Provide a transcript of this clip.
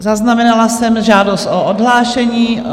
Zaznamenala jsem žádost o odhlášení.